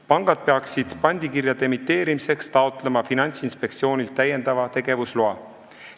Pangad peavad pandikirjade emiteerimiseks taotlema Finantsinspektsioonilt täiendava tegevusloa.